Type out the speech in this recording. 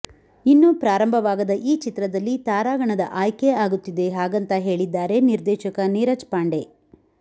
ಇನ್ನು ಪ್ರಾರಂಭವಾಗದ ಈ ಚಿತ್ರದಲ್ಲಿ ತಾರಾಗಣದ ಆಯ್ಕೆ ಆಗುತ್ತಿದೆ ಹಾಗಂತ ಹೇಳಿದ್ದಾರೆ ನಿರ್ದೇಶಕ ನೀರಜ್ ಪಾಂಡೆ